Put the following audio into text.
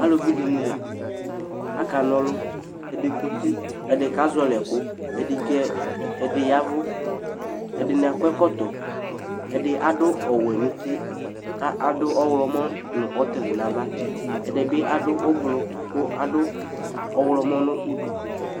alʋvi dini la aka nɔlʋ, ɛdi kɔti, ɛdi kazɔli ɛkʋ, ɛdi yavʋ, ɛdini akɔ ɛkɔtɔ, ɛdi adʋ ɔwɛ nʋ ʋti kʋ adʋ ɔwlɔmɔ nʋ ɔtili nʋ aɣa, ɛdibi adʋ ɔblɔ kʋ adʋ ɔwlɔmɔ nʋ ʋdʋ